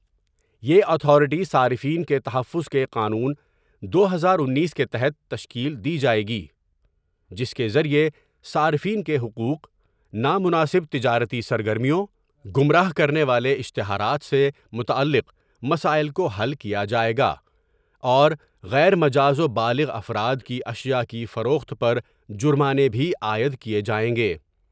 یہ اتھارٹی صارفین کے تحفظ کے قانون دو ہزار اینس کے تحت تشکیل دی جاۓ گی جس کے ذریعے صارفین کے حقوق نامناسب تجارتی سرگرمیوں گمراہ کرنے والے اشتہارات سے متعلق مسائل کو حل کیا جائے گا اور غیر مجاز و بالغ افراد کی اشیاء کی فروخت پر جرمانے بھی عائد کیے جائیں گے ۔